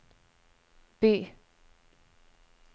by